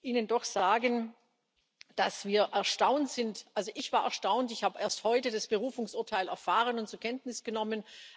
Ihnen doch sagen, dass wir erstaunt sind also ich war erstaunt, ich habe erst heute das Berufungsurteil erfahren und zur Kenntnis genommen.